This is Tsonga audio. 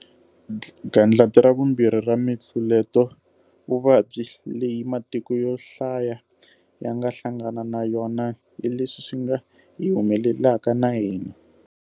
'Gandlati ra vumbirhi'ra mitluletovuvabyi leyi matiko yo hlaya ya nga hlangana na yona hi leswi swi nga hi humelelaka na hina.